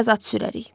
Biraz at sürərik.